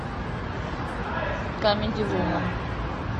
камеди вумен